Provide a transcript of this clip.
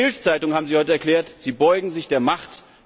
In der BILD Zeitung haben Sie heute erklärt, Sie beugen sich der Macht!